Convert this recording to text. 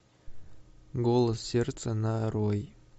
голос сердца нарой